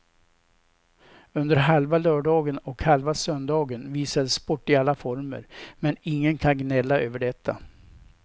Under halva lördagen och halva söndagen visades sport i alla former, men ingen kan gnälla över detta.